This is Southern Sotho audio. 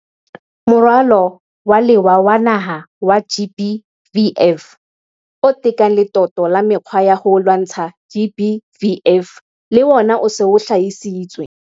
Moralo wa Lewa wa Naha wa GBVF, o tekang letoto la mekgwa ya ho lwantsha GBVF, le ona o se o hlahisitswe.